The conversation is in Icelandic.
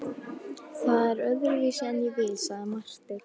Það er öðruvísi en ég vil, sagði Marteinn.